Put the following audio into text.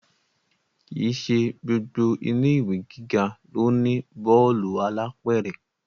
Kì í ṣe gbogbo ilé ìwé gíga ló ní bọ́ọ̀lù alápẹ̀rẹ̀